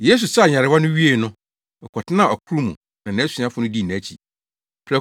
Yesu saa nyarewa no wiee no, ɔkɔtenaa ɔkorow mu na nʼasuafo no dii nʼakyi.